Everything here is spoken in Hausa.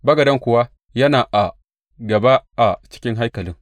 Bagaden kuwa yana a gaba a cikin haikalin.